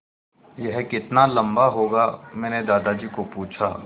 यह कितना लम्बा होगा मैने दादाजी को पूछा